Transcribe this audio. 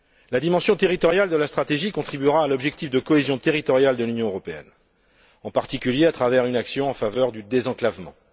La dimension territoriale de la stratégie contribuera à l'objectif de cohésion territoriale de l'Union européenne, en particulier à travers une action en faveur du désenclavement.